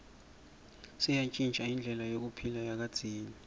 seyantjintja indlela yekuphila yakadzeni